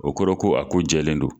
O kɔrɔ ko a ko jɛlen don